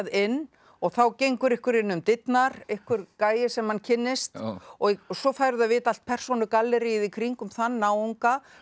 inn og þá gengur einhver inn um dyrnar einhver gæi sem hann kynnist og svo færðu að vita allt persónugalleríið í kringum þann náunga